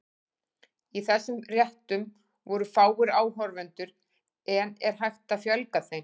Í þessum réttum voru fáir áhorfendur, en er hægt að fjölga þeim?